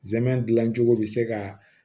Zɛmɛ dilancogo bi se ka